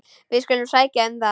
Við skulum sækja um það.